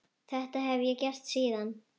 Þetta hef ég gert síðan.